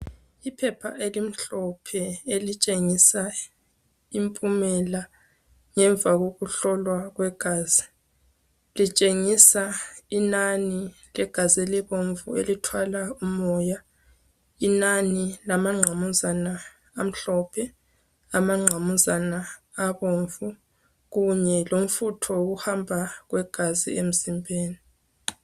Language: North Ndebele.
Iphepha elimhlophe elitshengisa impumela ngemva koku hlolwa kwegazi. Litshengisa inani legazi elibomvu elithwala umoya, inani lamanqamuzana amhlophe, amanqamuzana abomvu kunye lomfutho wokuhamba kwegazi emzimbeni.